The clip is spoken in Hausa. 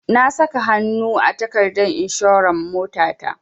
Na saka hanu a takardar inshorar motata.